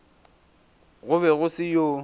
go be go se yo